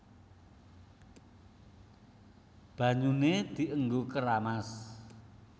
Banyuné dienggo keramas